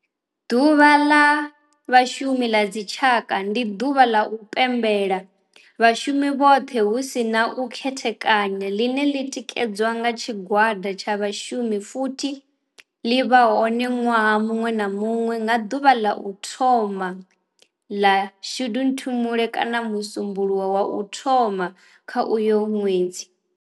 Ḓuvha la Vhashumi la dzi tshaka, ndi duvha la u pembela vhashumi vhothe hu si na u khethekanya line li tikedzwa nga tshigwada tsha vhashumi futhi li vha hone nwaha munwe na munwe nga duvha la u thoma 1 la Shundunthule kana musumbulowo wa u thoma kha uyo nwedzi.